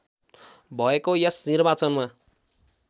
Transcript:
भएको यस निर्वाचनमा